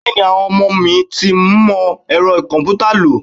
Bẹẹni, àwọn ọmọ mi tí ń mọ Ẹ̀rọ komputa lo.